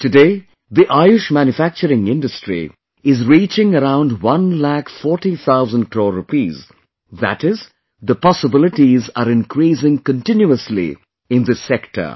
Today, the Ayush Manufacturing Industry is reaching around one lakh forty thousand crore rupees, that is, the possibilities are increasing continuously in this sector